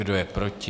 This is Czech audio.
Kdo je proti?